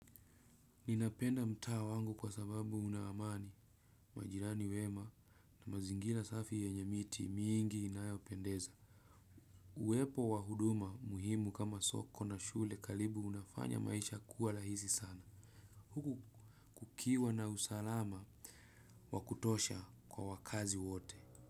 Ninapenda mtaa wangu kwa sababu unavamani, majirani wema na mazingira safi yenye miti mingi inayopendeza. Uwepo wa huduma muhimu kama soko na shule karibu unafanya maisha kuwa rahisi sana. Huku kukiwa na usalama wa kutosha kwa wakaazi wote.